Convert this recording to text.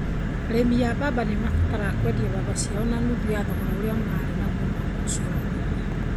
Arĩmi a mbamba nĩ maabataraga kwendia mbamba ciao na nuthu ya thogora ũrĩa maarĩ naguo mwaka ũcio ũrathirire